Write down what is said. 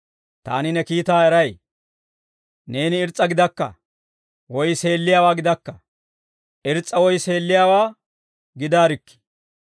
Taani ne kiitaa eray. Neeni irs's'a gidakka; woy seelliyaawaa gidakka; irs's'a woy seelliyaawaa gidaarikkii.